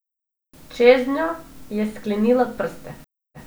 Čeznjo je sklenila prste.